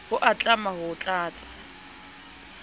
ho a tlama ho tlatsa